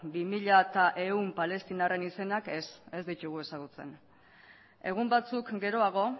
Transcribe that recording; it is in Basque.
bi mila ehun palestinarren izenak ez ez ditugu ezagutzen egun batzuk geroago